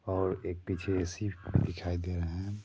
और एक पीछे शिप दिखाई दे रहे हैं।